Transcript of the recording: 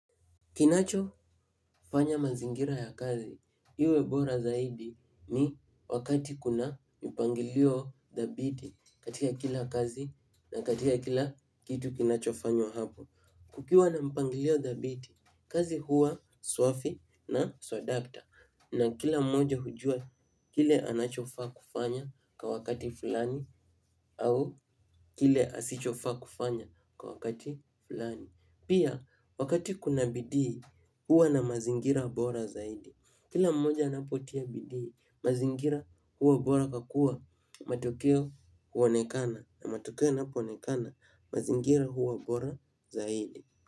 Kinacho fanya mazingira ya kazi iwe bora zaidi ni wakati kuna mpangilio dhabiti katika kila kazi na katika kila kitu kinacho fanywa hapo. Kukiwa na mpangilio dhabiti kazi huwa swafi na swadakta na kila mmoja hujua kile anachofaa kufanya kwa wakati fulani au kile asichofaa kufanya kwa wakati fulani. Pia wakati kuna bidii huwa na mazingira bora zaidi. Kila mmoja anapotia bidii mazingira huwa bora kwa kua matokeo huonekana na matokeo yanapo onekana mazingira huwa bora zaidi.